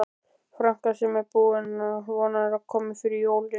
franka sem hún vonar að komi fyrir jólin.